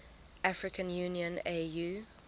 african union au